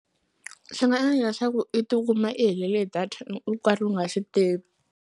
Swi nga endla swa ku i tikuma i helele hi data i u karhi u nga switivi.